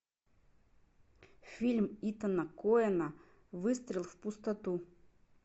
фильм итана коэна выстрел в пустоту